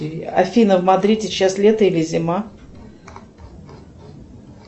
афина в мадриде сейчас лето или зима